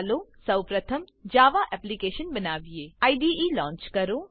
ચાલો સૌપ્રથમ Java application બનાવીએ આઈડીઈ લોન્ચ લોન્ચ કરો